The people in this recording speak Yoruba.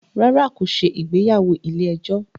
Rárá, kò ṣe ìgbéyàwó ilé ẹjọ́